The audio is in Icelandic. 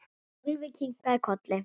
Sölvi kinkaði kolli.